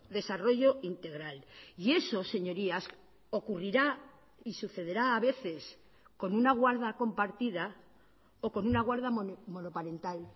desarrollo integral y eso señorías ocurrirá y sucederá a veces con una guarda compartida o con una guarda monoparental